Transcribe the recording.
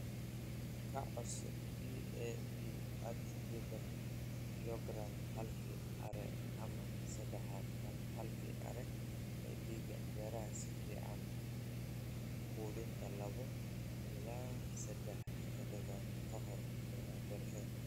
"Ka codso DAP at lihdan kilogaram halkii acre ama sadah tan halkii acre ee digada beerta si fiican u qudhuntay, laba ilaa sadah toddobaad ka hor beerashada.